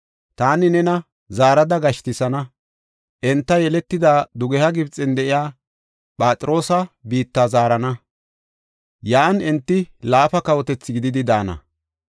Taani nena zaarada gashtisana enta yeletida dugeha Gibxen de7iya Phatroosa biitta zaarana; yan enti laafa kawotethi gididi daana.